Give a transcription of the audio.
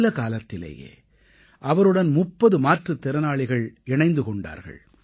சில காலத்திலேயே அவருடன் 30 மாற்றுத் திறனாளிகள் இணைந்து கொண்டார்கள்